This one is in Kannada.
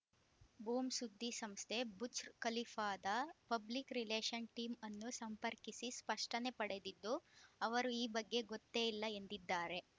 ಬೂಮ್‌ ಸುದ್ದಿಸಂಸ್ಥೆ ಬುರ್ಜ್ ಖಲೀಫಾದ ಪಬ್ಲಿಕ್‌ ರಿಲೇಶನ್‌ ಟೀಮ್‌ ಅನ್ನು ಸಂಪರ್ಕಿಸಿ ಸ್ಪಷ್ಟನೆ ಪಡೆದಿದ್ದು ಅವರು ಈ ಬಗ್ಗೆ ಗೊತ್ತೇ ಇಲ್ಲ ಎಂದಿದ್ದಾರೆ